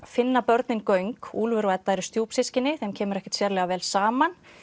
finna börnin göng úlfur og Edda eru þeim kemur ekkert sérlega vel saman